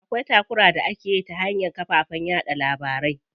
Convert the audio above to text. Akwai takura da akeyi ta hanyar kafafen yaɗa labarai.